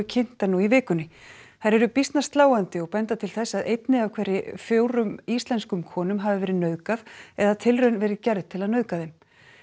kynntar nú í vikunni þær eru býsna sláandi og benda til þess að einni af hverjum fjórum íslenskum konum hafi verið nauðgað eða tilraun verið gerð til að nauðga þeim